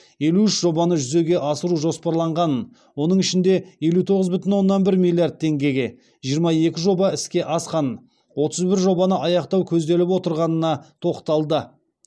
елу үш жобаны жүзеге асыру жоспарланғанын оның ішінде елу тоғыз бүтін оннан бір миллиард теңгеге жиырма екі жоба іске асқанын отыз бір жобаны аяқтау көзделіп отырғанына тоқталды